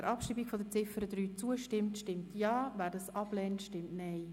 Wer Ziffer 3 abschreiben möchte stimmt Ja, wer dies ablehnt, stimmt Nein.